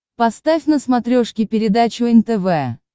поставь на смотрешке передачу нтв